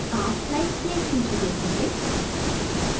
आप slides की एक सूची देखेंगे